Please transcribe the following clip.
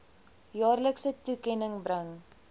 jaarlikse toekenning bring